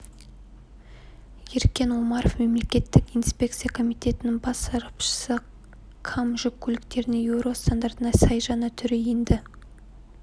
еркен омаров мемлекеттік инспекция комитетінің бас сарапшысы кам жүк көліктерінің еуро стандартына сай жаңа түрі енді